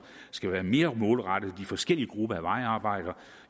skal være mere målrettet de forskellige grupper af vejarbejdere